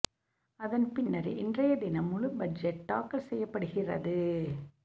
அதன் பின்னர் இன்றைய தினம் முழு பட்ஜெட் தாக்கல் செய்யப்படுகிறது